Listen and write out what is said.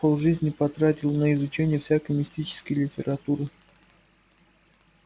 полжизни потратил на изучение всякой мистической литературы